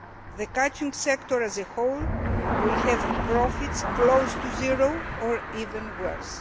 The catching sector as a whole will have profits close to zero or even worse.